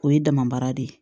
O ye dama baara de ye